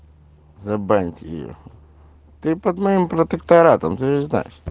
забаньте о ты под моим протекторатом звезда